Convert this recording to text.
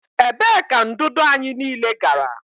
Ebee ka ndụdụ anyị niile gara?